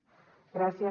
gràcies